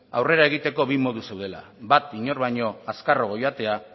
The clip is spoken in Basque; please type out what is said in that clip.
aurrera egiteko bi modu zeudela bat inor baino azkarrago joatea